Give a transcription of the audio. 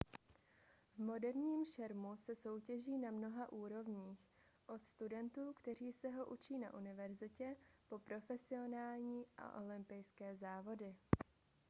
v moderním šermu se soutěží na mnoha úrovních od studentů kteří se ho učí na univerzitě po profesionální a olympijské závody